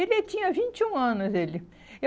Ele tinha vinte e um anos, ele.